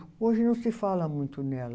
Hoje não se fala muito nela.